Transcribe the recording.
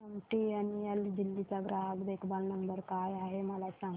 MTNL Delhi चा ग्राहक देखभाल नंबर काय आहे मला सांग